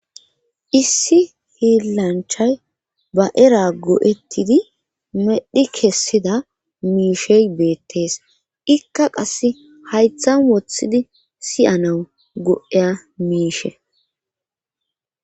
issi hiillanchay ba era go7ettidi medhi kessida miishe beettees ikka qasse haythan woththidi siyanau go7eya miishe